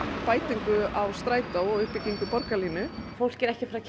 bætingu strætó og uppbyggingu borgarlínu fólk er ekki